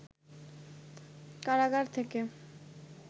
কারাগার থেকে